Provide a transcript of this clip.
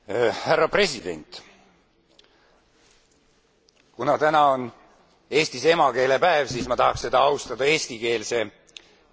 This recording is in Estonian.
Kuna täna on Eestis emakeelepäev, siis ma tahaksin seda austada eestikeelse kõnega.